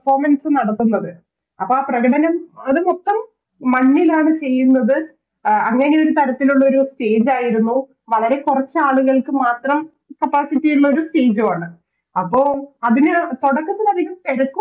Performance നടത്തുന്നത് അപ്പൊ ആ പ്രകടനം അത് മൊത്തം മണ്ണിലാണ് ചെയ്യുന്നത് ആ അഹ് അങ്ങനെയൊരു തരത്തിലുള്ളൊരു Stage ആയിരുന്നു വളരെ കുറച്ചാളുകൾക്ക് മാത്രം Capacity ഉള്ളൊരു Stage ആണ് അപ്പൊ അതിന് തൊടക്കത്തിലധികം